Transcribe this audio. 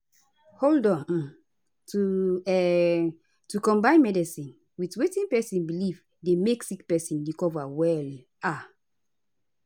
hold on - um to um to combine medicine with wetin pesin belief dey make sick pesin recover well um